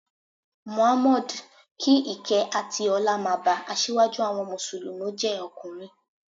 Mohammed (kí ìkẹ́ àti ọlá máa ba), asíwájú àwọn Mùsùlùmí jẹ́ ọkùnrin.